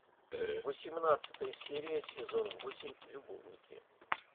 восемнадцатая серия сезон восемь любовники